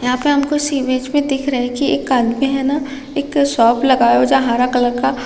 यहाँ पे हमको इस इमेज में दिख रहा है कि एक आदमी है न एक शॉप लगाया हुआ है जहाँ हरा कलर का--